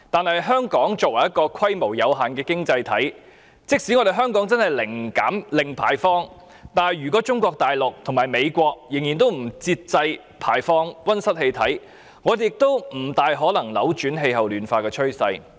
然而，香港作為一個規模有限的經濟體，即使真的零排放，如果中國大陸及美國仍然不節制地排放溫室氣體，也不太可能扭轉氣候暖化的趨勢。